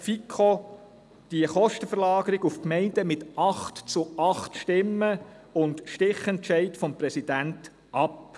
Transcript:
Die Kostenverlagerung auf die Gemeinden lehnte die FiKo mit 8 zu 8 Stimmen und Stichentscheid des Präsidenten ab.